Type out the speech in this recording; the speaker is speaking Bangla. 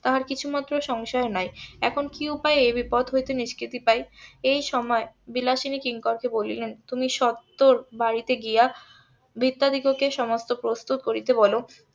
তাহার কিছু মাত্র সংশয় নাই এখন কি উপায় এ বিপদ হইতে নিষ্কৃতি পাই এই সময় বিলাসিনী কিংকর কে বলিলেন তুমি সত্তর বাড়িতে গিয়া . সমস্ত প্রস্তুত করতে বলো